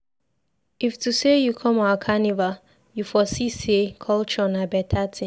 If to sey you come our carnival, you for see sey culture na beta tin.